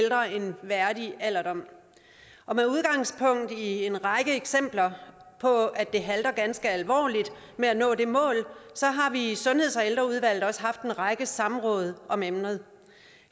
værdig alderdom med udgangspunkt i en række eksempler på at det halter ganske alvorligt med at nå det mål så har vi i sundheds og ældreudvalget også haft en række samråd om emnet